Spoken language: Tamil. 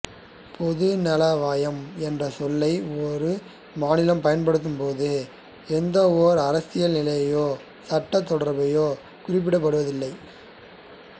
பொதுநலவாயம் என்ற சொல்லை ஒரு மாநிலம் பயன்படுத்தும்போது எந்தவொரு அரசியல் நிலையையோ சட்டத் தொடர்பையோ குறிப்பிடுவதில்லை